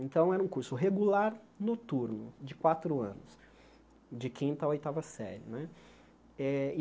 Então, era um curso regular noturno, de quatro anos, de quinta a oitava série né eh.